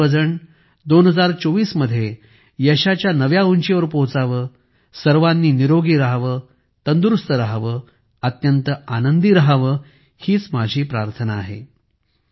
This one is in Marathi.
आपण सर्वजण 2024 मध्ये यशाच्या नव्या उंचीवर पोहोचावे सर्वांनी निरोगी राहावे तंदुरुस्त राहावे अत्यंत आनंदी राहावे हीच माझी प्रार्थना आहे